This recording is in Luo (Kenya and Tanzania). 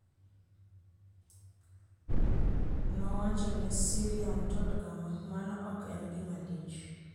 Nowacho ne SyriaUntold kama, "Mano ok en gima lich.